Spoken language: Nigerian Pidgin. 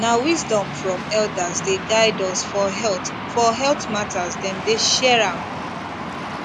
na wisdom from elders dey guide us for health for health matters dem dey share am